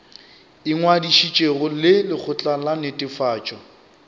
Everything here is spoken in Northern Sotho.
ingwadišitšego le lekgotla la netefatšo